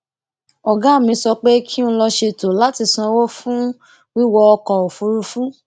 ògá mi sọ pé kí n lọ ṣètò láti sanwó fún wíwọ ọkò òfuurufú